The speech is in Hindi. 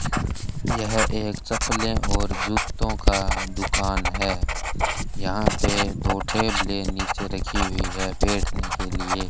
यह एक चप्पलें और जूतों का दुकान है यहां पे दो टेबलें नीचे रखी हुई हैं बैठने के लिए।